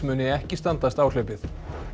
muni ekki standast áhlaupið